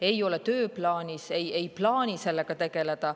Ei ole tööplaanis, ei ole plaani sellega tegeleda.